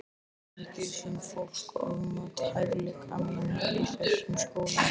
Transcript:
Mikið sem fólk ofmat hæfileika mína í þessum skóla.